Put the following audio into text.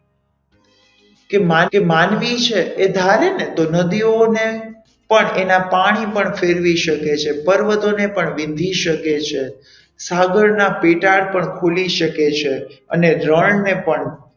કે માનવી છે તે ધારે ને તો નદીઓને પણ એના પાણી પણ ફેરવી શકે છે પર્વતોને પણ વિંધી શકે છે સાગરના પેટાડ પણ ખોલી શકે છે અને રણને પણ,